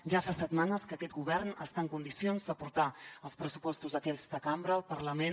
ja fa setmanes que aquest govern està en condicions de portar els pressupostos a aquesta cambra al parlament